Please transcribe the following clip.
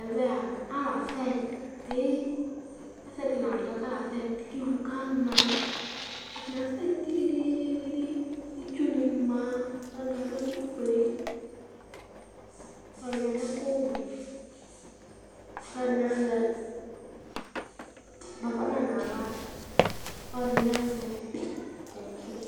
Ɛvɛ alʋ asɛtɩ Ɛsɛdɩ la adzɔ bɩ kʋ asɛtɩ, kʋ ɩvʋ kana Atanɩ asɛtɩ dɩdɩdɩItsu nɩ ma Alʋɛdɩnɩ adʋ ɛkʋfue, alʋɛdɩnɩ adʋ ɛkʋwɛ, alʋɛdɩnɩ azɛ bafana nʋ aɣla, kʋ alʋɛdɩnɩ azɛ kaki